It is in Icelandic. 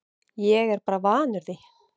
Ég er bara vanur því